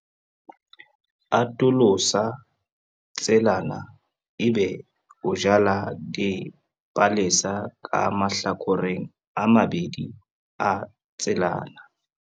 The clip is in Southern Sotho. Atolosa tselana ebe o jala dipalesa ka mahlakoreng a mabedi a tselana.